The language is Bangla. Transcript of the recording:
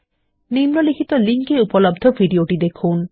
নিম্নলিখিত লিঙ্ক এ উপলব্ধ ভিডিওটি দেখুন